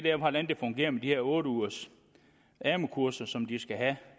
er hvordan det fungerer med de her otte ugers amu kurser som de skal have